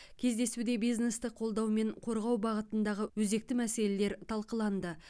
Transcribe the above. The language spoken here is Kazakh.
кездесуде бизнесті қолдау мен қорғау бағытындағы өзекті мәселелер талқыланды